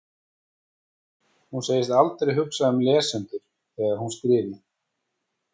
Hún segist aldrei hugsa um lesendur þegar hún skrifi.